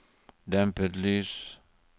dempet lys